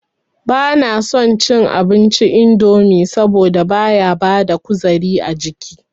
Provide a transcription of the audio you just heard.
Ba na son cin abinci indomi saboda baya bada kuzari ajiki